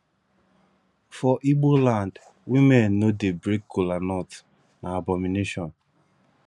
for ibo land women no dey break colanut na abomination